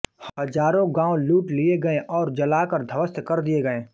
हजारों गाँव लूट लिए गए और जलाकर ध्वस्त कर दिए गए